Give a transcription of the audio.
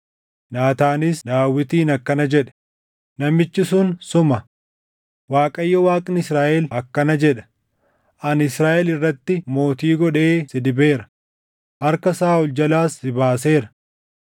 Naataanis Daawitiin akkana jedhe; “Namichi sun suma! Waaqayyo Waaqni Israaʼel akkana jedha: ‘Ani Israaʼel irratti mootii godhee si dibeera; harka Saaʼol jalaas si baaseera.